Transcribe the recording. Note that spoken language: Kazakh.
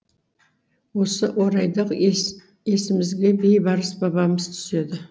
осы орайда есімізге бейбарыс бабамыз түседі